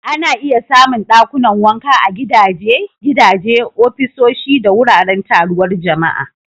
Ana iya samun dakunan wanka a gidaje, gidaje, ofisoshi, da wuraren taruwar jama'a.